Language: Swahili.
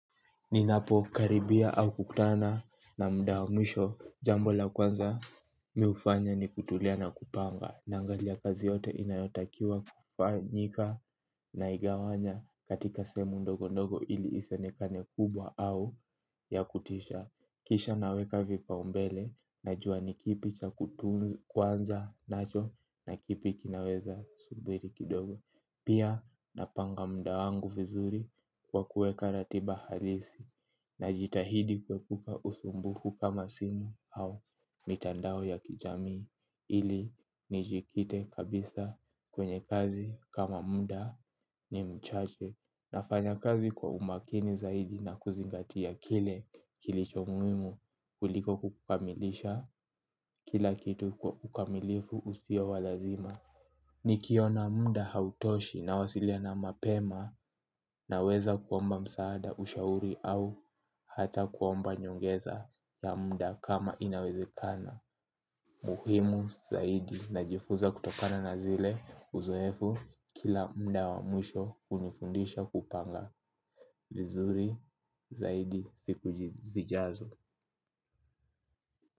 Ninapo karibia au kukutana na muda wa mwisho jambo la kwanza miufanya ni kutulia na kupanga naangalia kazi yote inayotakiwa kufanyika na igawanya katika sehemu ndogo ndogo ili isionekane kubwa au ya kutisha kisha naweka vipaumbele najua ni kipi cha kuanza nacho na kipi kinaweza subiri kidogo. Pia napanga muda wangu vizuri kwa kuweka ratiba halisi najitahidi kuepuka usumbufu kama simu au mitandao ya kijami ili ni jikite kabisa kwenye kazi kama muda ni mchache nafanya kazi kwa umakini zaidi na kuzingatia kile kilicho muhimu kuliko kukamilisha kila kitu kwa ukamilifu usio walazima. Nikiona muda hautoshi nawasiliana mapema naweza kuomba msaada ushauri au hata kuomba nyongeza ya muda kama inawezekana. Muhimu zaidi najifuza kutokana na zile uzoefu kila muda wa mwisho hunifundisha kupanga. Vizuri zaidi siku zijazo.